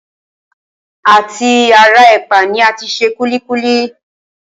À ti ara ẹ̀pà ni a ti se kúlíkúlí